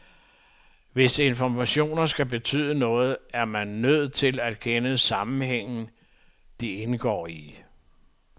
Hvis informationer skal betyde noget, er man nødt til at kende sammenhængen, de indgår i.